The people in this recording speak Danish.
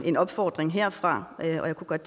en opfordring herfra og jeg kunne godt